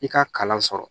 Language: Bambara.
I ka kalan sɔrɔ